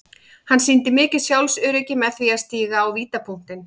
Hann sýndi mikið sjálfsöryggi með því að stíga á vítapunktinn.